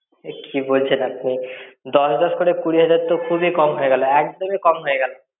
এ কি বলছেন আপনি! দশ দশ করে কুড়ি হাজার তো খুব ই কম হয়ে গেল, একদম-ই কম হয়ে গেল।